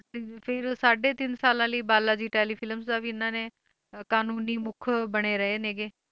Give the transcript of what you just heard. ਤੇ ਫਿਰ ਸਾਢੇ ਤਿੰਨ ਸਾਲਾਂ ਲਈ ਬਾਲਾ ਜੀ telefilms ਦਾ ਵੀ ਇਹਨਾਂ ਨੇ ਅਹ ਕਾਨੂੰਨੀ ਮੁੱਖ ਬਣੇ ਰਹੇ ਨੇ ਗੇ,